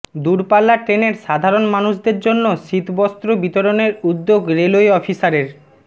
দূরপাল্লা ট্রেনের সাধারন মানুষদের জন্য শীতবস্ত্র বিতরণের উদ্যোগ রেলওয়ে অফিসারের